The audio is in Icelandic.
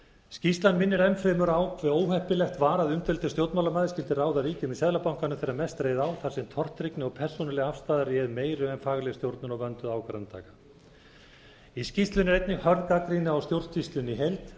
skýrslan minnir enn fremur á hve óheppilegt var að umdeildur stjórnmálamaður skyldi ráða ríkjum í seðlabankanum þegar mest reið á þar sem tortryggni og persónuleg afstaða réð meiru en fagleg stjórnun og vönduð ákvarðanataka í skýrslunni er einnig hörð gagnrýni á stjórnsýslunni í heild